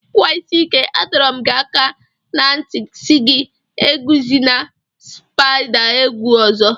Nwa isi ike, A dọrọ m gi aka na nti si gị eguzina spaida egwu ọzọ.